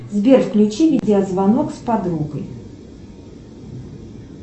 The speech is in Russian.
сбер включи видеозвонок с подругой